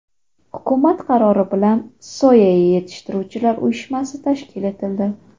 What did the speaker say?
Hukumat qarori bilan Soya yetishtiruvchilar uyushmasi tashkil etildi.